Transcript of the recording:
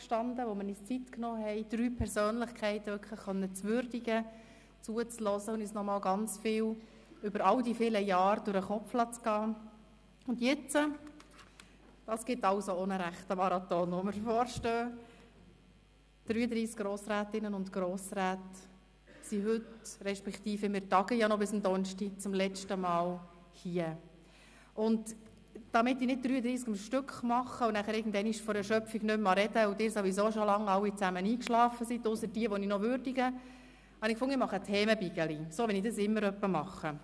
Damit ich nicht 33 Verabschiedungen am Stück machen muss und irgendwann vor Erschöpfung nicht mehr sprechen mag und Sie alle ausser denen, die ich noch würdige, sowieso schon lange eigeschlafen sind, habe ich beschlossen, Themenblöcke zu machen – so, wie ich es immer etwa mache.